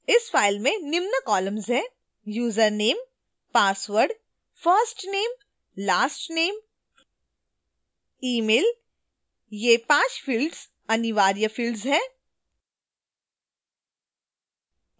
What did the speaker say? इस file में निम्न columns हैं: